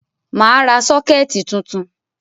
Mà á ra sọ́kẹ́tì tuntun.